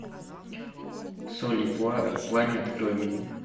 соль и пламя открой мне